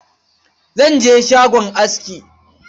Zan je shagon aski.